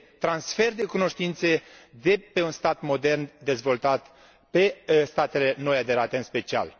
transfer de cunoștințe de la un stat modern, dezvoltat la statele noi aderate, în special.